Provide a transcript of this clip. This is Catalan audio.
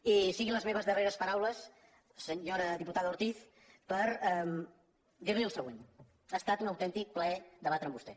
i siguin les meves darreres paraules senyora diputada ortiz per dir·li el següent ha estat un autèntic plaer debatre amb vostè